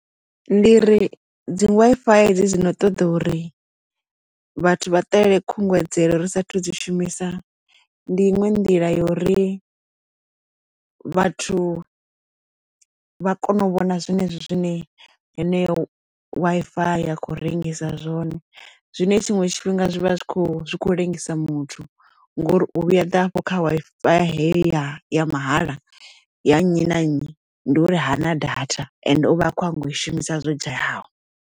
Ndi ri dzi Wi-Fi hedzi dzino ṱoḓa uri vhathu vha ṱalele khungedzelo ri sathu dzi shumisa ndi iṅwe nḓila yo ri vhathu vha kone u vhona zwenezwi zwine yeneyo Wi-Fi ya khou rengisa zwone zwine tshinwe tshifhinga zwi vha zwi kho zwikho ḽengisa muthu ngori u vhuya ḓa afho kha Wi-Fi heyo ya ya mahala ya nnyi na nnyi ndi uri hana data ende uvha a kho nyanga u i shumisa zwo dzhayaho.